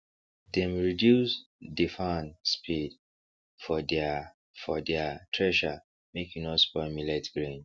dem reduce dey fan speed for deir for deir thresher make e no spoil millet grain